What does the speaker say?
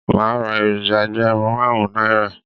Màá ra èròjà ẹgbẹ̀rún máàrún Náírà